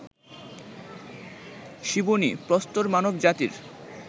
Ciboney, প্রস্তর মানব জাতির